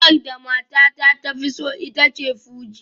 Wakar da matata ta fi so ita ce fuji